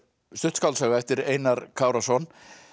stutt skáldsaga eftir Einar Kárason